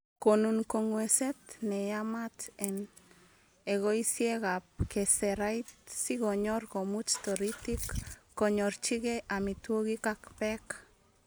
Konun kongwengset neyamat en ekosiekab keserait sikonyor komuch toritik konyorchige amitwogiik ak beek.